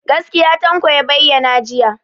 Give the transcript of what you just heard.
Gaskiya Tanko ya bayyana jiya.